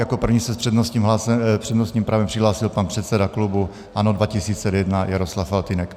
Jako první se s přednostním právem přihlásil pan předseda klubu ANO 2011 Jaroslav Faltýnek.